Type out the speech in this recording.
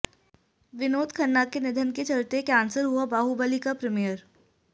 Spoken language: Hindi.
विनोद खन्ना के निधन के चलते कैंसिल हुआ बाहुबली का प्रीमियर